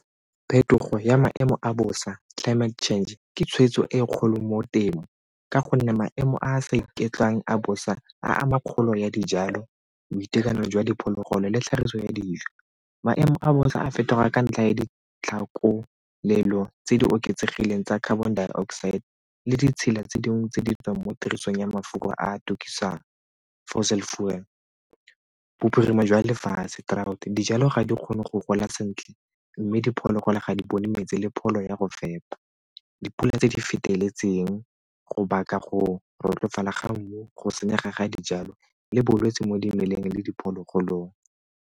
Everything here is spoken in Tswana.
Phetogo ya maemo a bosa, climate change ke tshwetso e e kgolo mo temo ka gonne maemo a a sa iketlwang a bosa a ama kgolo ya dijalo, boitekanelo jwa diphologolo le tlhagiso ya dijo. Maemo a bosa a fetoga a ka ntlha ya ditlhakolelo tse di oketsegileng tsa carbon dioxide le ditshila tse dingwe tse di tswang mo tirisong ya mafelo a a tukisang, fossil fuel. Bophirima jwa lefatshe, drought, dijalo ga di kgone go gola sentle mme diphologolo ga di bone metsi le pholo ya go fepa, dipula tse di feteletseng go baka go , go senyega ga dijalo le bolwetse mo dimeleng le diphologolong.